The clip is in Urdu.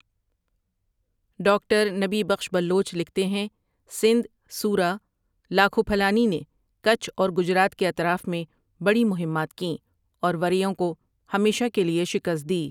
ڈاکٹر نبی بخش بلوچ لکھتے ہیں، سندھ سورہ لاکھو پھلانی نے کچھ اور گجرات کے اطراف میں بڑی مہمات کیں اور وریوں کو ہمیشہ کے لیے شکست دی ۔